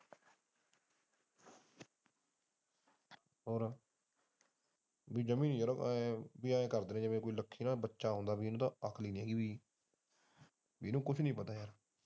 ਉਹ ਇਹ ਕਰਦੇ ਹੈ ਜਿਵੇ ਲੱਕੀ ਇੱਕ ਬੱਚਾ ਹੁੰਦਾ ਹੈ ਜਿਵੇ ਉਹਨੂੰ ਕੁਝ ਨਹੀਂ ਪਤਾ।